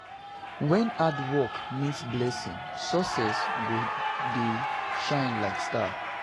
Wen hard work meet blessing, success go dey shine like star.